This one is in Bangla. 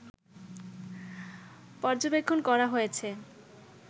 পর্যবেক্ষণ করা হয়েছে